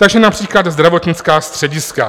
Takže například zdravotnická střediska.